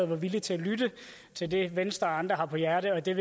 var villige til at lytte til det venstre og andre har på hjerte og det er